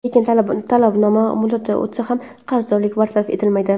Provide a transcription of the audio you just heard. Lekin talabnoma muddati o‘tsa ham, qarzdorlik bartaraf etilmaydi.